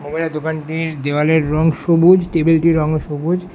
ওপরে দোকানটির দেওয়ালের রং সবুজ টেবিল -টির রঙও সবুজ।